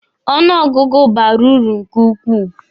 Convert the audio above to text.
Ọnụ ọgụgụ bara uru nke ukwuu.